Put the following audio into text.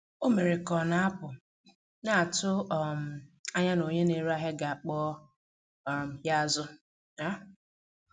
Ọ mere ka ọ na-apụ, na-atụ um anya na onye na-ere ahịa ga-akpọ um ya azụ. um